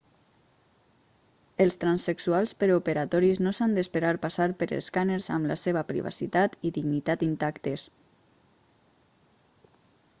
els transsexuals preoperatoris no s'han d'esperar passar per escàners amb la seva privacitat i dignitat intactes